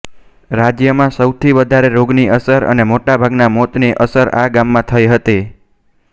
રાજ્યમાં સૌથી વધારે રોગની અસર અને મોટા ભાગના મોત ની અસર આ ગામમાં થઇ હતી